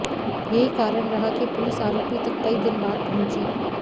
यही कारण रहा कि पुलिस आरोपी तक कई दिन बाद पहुंची